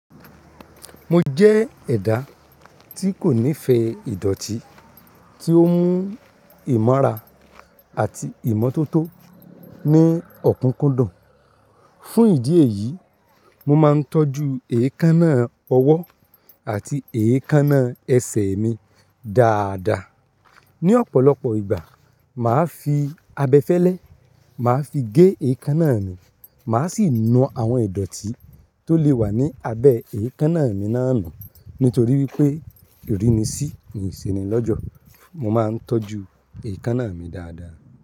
Mo jẹ́ ẹ̀dà tí kò nífẹ̀ẹ́ ìdọ̀tí, tí ó ń mú ìmọ́ra àti ìmọ́tótó ní ọ̀kúkúndùn. Fún ìdí èyí, mo máa ń tọ́jú èékánná ọwọ́ àti èékánná ẹsẹ̀ mi dáadáa. Ni ọ̀pọ̀lọpọ̀ ìgbà, màá fi abẹfẹ́lẹ́, màá fi gé èékánná mi, màá sì nu àwọn ìdọ̀tí tó lè wà ní abẹ èékánná mi náà nù. Nítorí wípé ìrínisí ni ìseni l'ọ́jọ̀, mo máa ń tọ́jú èékánná mi dáadáa.